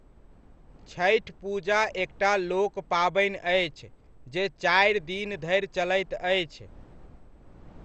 छठि पूजा एकटा लोक पाबनि अछि जे चारि दिन धरि चलैत अछि।